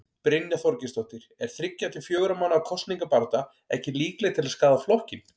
Brynja Þorgeirsdóttir: Er þriggja til fjögurra mánaða kosningabarátta ekki líkleg til að skaða flokkinn?